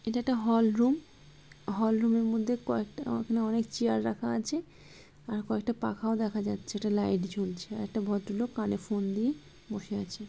এটা একটা hall room. Hall room এর মধ্যে কয়েকটা আ অনেক চেয়ার রাখা আছে। আর কয়েকটা পাখাও দেখা যাচ্ছে। একটা লাইট জ্বলছে। একটা ভদ্রলোক কানে ফোন দিয়ে বসে আছে।